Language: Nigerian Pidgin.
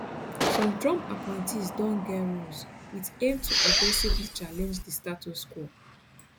some trump appointees don get roles wit aim to aggressively challenge di status quo